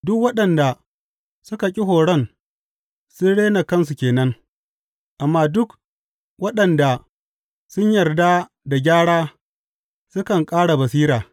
Duk waɗanda suka ƙi horon sun rena kansu ke nan, amma duk waɗanda sun yarda da gyara sukan ƙara basira.